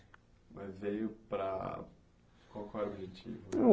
Mas veio para... Qual que é o objetivo?